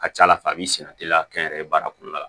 A ka ca ala fɛ a b'i sɛnɛ teliya kɛ n yɛrɛ ye baara kɔnɔna la